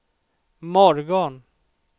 morgon